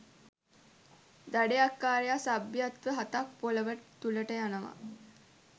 දඩයක්කාරයා සභ්‍යත්ව හතක් පොළොව තුලට යනවා.